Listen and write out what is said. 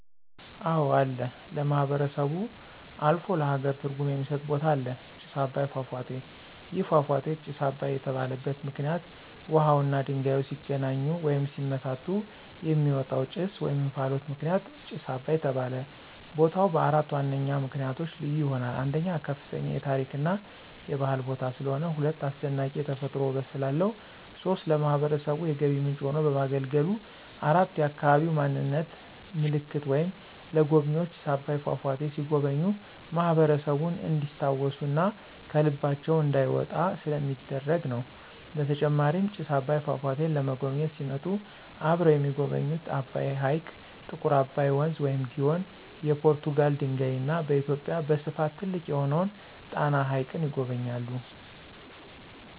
አወ አለ ለማህበረሰቡ አልፎ ለሃገር ትርጉም የሚስጥ ቦታ አለ። ጭስ አባይ ፏፏቴ። ይህ ፏፏቴ ጭስ አባይ የተባለበት ምክንይት ውሃውና ድንጋዩ ሲገናኙ ወይም ሲመታቱ የሚወጣው ጭስ /እንፍሎት ምክንያት ጭስ አባይ ተባለ። ቦታው በአራት ዋነኛ ምክንያቶች ልዩ ይሆናል። 1, ከፍተኛ የታሪክ እና የባህል ቦታ ስለሆነ። 2, አስደናቂ የተፈጥሮ ውበት ስላለው። 3, ለማህበረሰቡ የገቢ ምንጭ ሆኖ በማገልገሉ። 4, የአካባቢ ማንነት ምልክት ወይም ለጎብኝዎች ጭስ አባይ ፏፏቴ ሲጎበኙ ማህበረሰቡን እንዲስታውሱ እና ከልባቸው እንዳይወጣ ስለሚደረግ ነው። በተጨማሪም ጭስ አባይን ፏፏቴን ለመጎብኝት ሲመጡ አብረው የሚጎበኙት አባይ ሕይቅ፣ ጥቁር አባይ ወንዝ(ግዮን) ፣የፖርቱጋል ድልድይ እና በኢትዮጵያ በስፍት ትልቅ የሆነውን ጣና ሀይቅን ይጎበኛሉ።